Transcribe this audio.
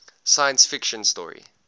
science fiction story